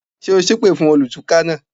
Ṣé o sépè fún olùtúká náà?